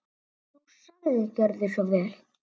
Þú sagðir: Gjörðu svo vel.